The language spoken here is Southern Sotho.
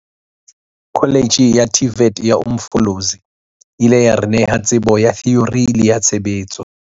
Kholetjhe ya TVET ya Umfolozi e ile ya re neha tsebo ya theori le ya tshebetso.